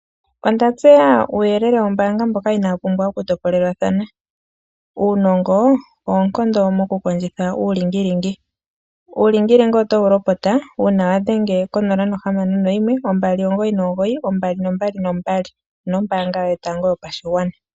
Onda tseya uuyelele wombaanga mboka inaawu pumbwa okutopolelwatha. Uunongo, oonkondo mokukondjitha uulingilingi. Uulingilingi otowu lopota uuna wadhenge ko 061299222 onombaanga yotango yopashigwana.